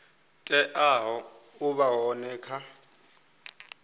teaho u vha hone kha